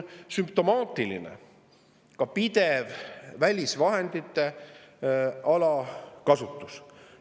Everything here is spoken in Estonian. Sümptomaatiline on ka pidev välisvahendite alakasutus.